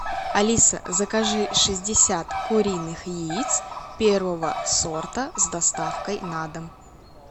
алиса закажи шестьдесят куриных яиц первого сорта с доставкой на дом